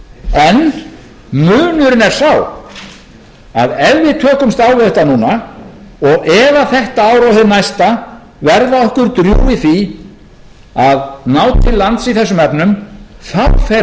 en munurinn er sá að ef við tökumst á við þetta núna og ef þetta ár og það næsta verða okkur drjúg í því að ná til lands í þessum efnum þá fer strax að horfa skárra á árunum þar á